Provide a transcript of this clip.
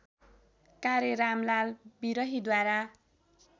कार्य रामलाल विरहीद्वारा